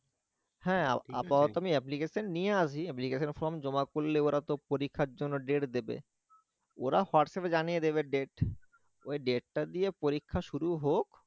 হ্যাঁ আপাতত আমি application নিয়ে আসি application form জমা করলে ওরা তো পরীক্ষার জন্য date দিবে ওরা WhatsApp এ জানিয়ে দেবে date ওই date টা দিয়ে পরীক্ষা শুরু হোক